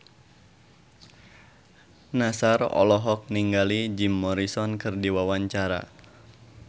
Nassar olohok ningali Jim Morrison keur diwawancara